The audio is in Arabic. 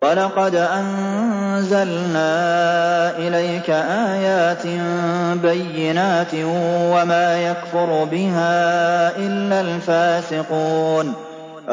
وَلَقَدْ أَنزَلْنَا إِلَيْكَ آيَاتٍ بَيِّنَاتٍ ۖ وَمَا يَكْفُرُ بِهَا إِلَّا الْفَاسِقُونَ